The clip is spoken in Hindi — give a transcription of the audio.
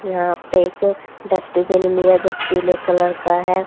यहां पे एक डस्टबिन भी है जो पीले कलर का है।